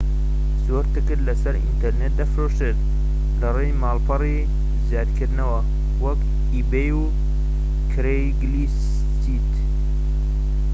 زۆر تکت لەسەر ئینتەرنێت دەفرۆشرێت لەڕیی ماڵپەڕی زیادکردنەوە وەکو ئیبەی و کرەیگسلیست